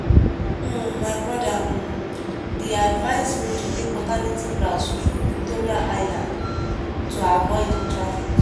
um my brother um dey advise me to take alternative route through victoria island to avoid traffic.